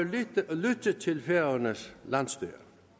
lytte til færøernes landsstyre